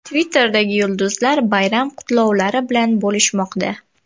Twitterdagi yulduzlar bayram qutlovlari bilan bo‘lishmoqda .